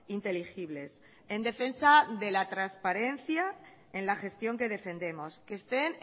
inteligibles en defensa de la transparencia en la gestión que defendemos que estén